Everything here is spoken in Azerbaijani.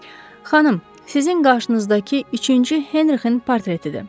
Xanım, sizin qarşınızdakı üçüncü Henrikin portretidir.